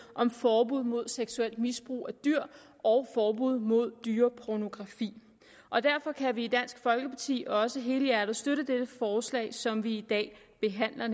om forbud mod seksuelt misbrug af dyr og forbud mod dyrepornografi og derfor kan vi i dansk folkeparti også helhjertet støtte dette forslag som vi i dag behandler